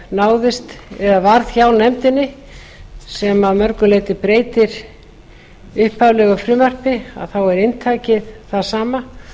náðist eða varð hjá nefndinni sem að mörgu leyti breytir upphaflegu frumvarpi þá er inntakið það sama